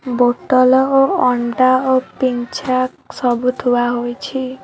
ବୋତଲ ଓ ଅଣ୍ଡା ଓ ପିଞ୍ଛାକ୍ ସବୁ ଥୁଆ ହୋଇଛି।